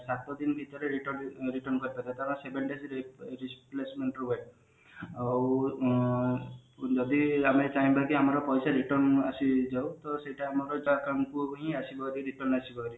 ସାତ ଦିନ ଭିତରେ return return କରିପାରିବା କାରଣ seven days replacement ରୁହେ ଆଉ ଉଁ ଯଦି ଆମର ଚାହିଁବା କି ଆମର ପଇସା return ଆସି ଯାଉ ତ ସେଇଟା ଆମର ନିଜ account କୁ ହିଁ ଆସିବ ଯଦି return ଆସିବ